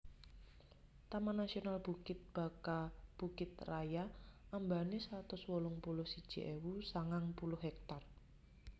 Taman Nasional Bukit Baka Bukit Raya ambane satus wolung puluh siji ewu sangang puluh hektar